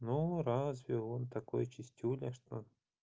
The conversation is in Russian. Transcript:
ну разве он такой чистюля что